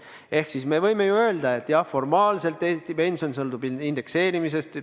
Ehk siis me võime öelda, et jah, formaalselt Eesti pension sõltub indekseerimisest.